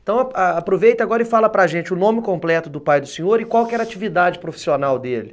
Então a aproveita agora e fala para gente o nome completo do pai do senhor e qual que era a atividade profissional dele.